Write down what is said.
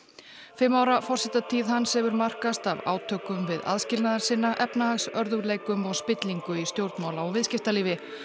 fimm ára forsetatíð hans hefur markast af átökum við aðskilnaðarsinna efnahagsörðugleikum og spillingu í stjórnmála og viðskiptalífi